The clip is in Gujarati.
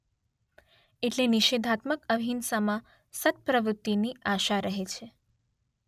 એટલે નિષેધાત્મક અહિંસામાં સત્પ્રવૃતીની આશા રહે છે